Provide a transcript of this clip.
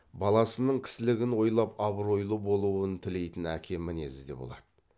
баласының кісілігін ойлап абыройлы болуын тілейтін әке мінезі де болады